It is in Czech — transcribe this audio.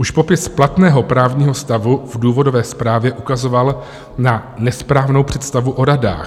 Už popis platného právního stavu v důvodové zprávě ukazoval na nesprávnou představu o radách.